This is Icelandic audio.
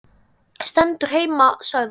Stendur heima sagði hann.